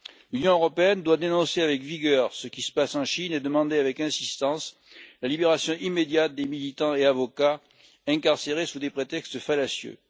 L'Union européenne doit dénoncer avec vigueur ce qui se passe en Chine, et demander avec insistance la libération immédiate des militants et des avocats incarcérés sous des prétextes fallacieux.